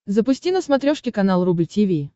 запусти на смотрешке канал рубль ти ви